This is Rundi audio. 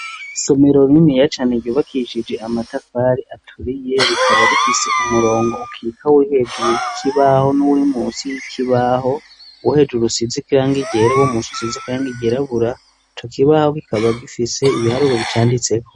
Isomirorimiyacane ryubakishije amatafari aturiye rikaba rifise umurongo ukika w'ihejuru y'ikibaho n'uri mu si y'ikibaho uwu hejuru usizi kirange igera wo mu nsi usizikirange igerabura co kibaho gikaba gifise ibiharuro bicanditseko.